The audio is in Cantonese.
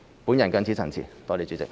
我謹此陳辭，多謝代理主席。